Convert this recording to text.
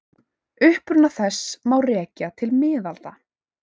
Uppruna þess má rekja til miðalda.